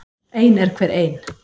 Ein er hver ein.